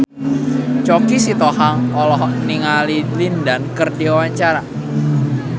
Choky Sitohang olohok ningali Lin Dan keur diwawancara